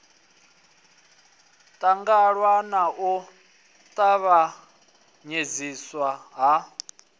ṱangaṋwa na u tavhanyedziswa ha